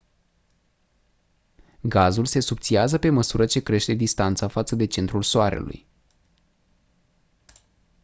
gazul se subțiază pe măsură ce crește distanța față de centrul soarelui